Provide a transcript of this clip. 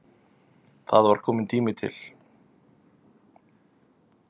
Það var kominn tími til.